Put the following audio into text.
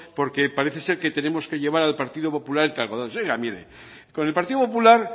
porque parece ser que tenemos que llevar al partido popular cargadores oiga mire con el partido popular